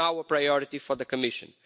It is now a priority for the Commission.